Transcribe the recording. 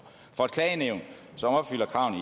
for et klagenævn som opfylder kravene